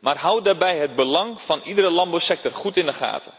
maar houd daarbij het belang van iedere landbouwsector goed in de gaten